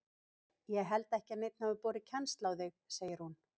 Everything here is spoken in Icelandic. Ég held ekki að neinn hafi borið kennsl á þig segir hún.